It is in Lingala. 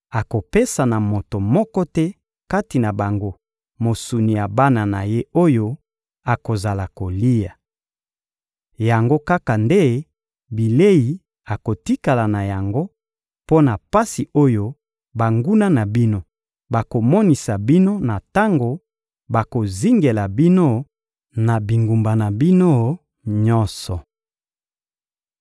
Akopesa na moto moko te kati na bango mosuni ya bana na ye oyo akozala kolia. Yango kaka nde bilei akotikala na yango mpo na pasi oyo banguna na bino bakomonisa bino na tango bakozingela bino na bingumba na bino nyonso.